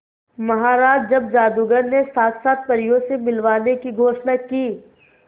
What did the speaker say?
महाराज जब जादूगर ने साक्षात परियों से मिलवाने की घोषणा की